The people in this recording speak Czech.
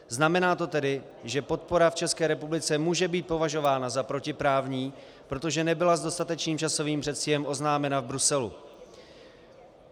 Znamená to tedy, že podpora v České republice může být považována za protiprávní, protože nebyla s dostatečným časovým předstihem oznámena v Bruselu.